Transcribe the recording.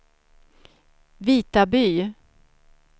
Vitaby